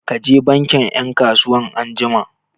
Ka je bankin 'yan kasuwan anjima!